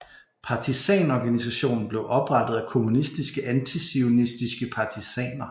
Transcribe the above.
Partisanorganisationen blev oprettet af kommunistiske antizionistiske partisaner